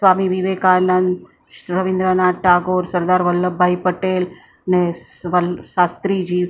સ્વામી વિવેકાનંદ શ રવીન્દ્રનાથ ટાગોર સરદાર વલ્લભભાઈ પટેલ ને સ્વલ શાસ્ત્રીજી--